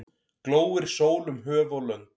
Glóir sól um höf og lönd.